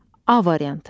A variantı.